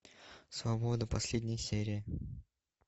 свобода последняя серия